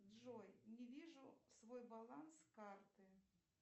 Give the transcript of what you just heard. джой не вижу свой баланс карты